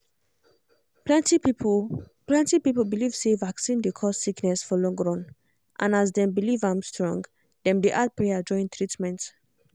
plenty people plenty people believe say vaccine dey cause sickness for long run and as dem believe am strong dem dey add prayer join treatment